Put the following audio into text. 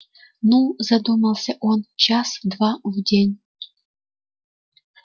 ну задумался он час два в день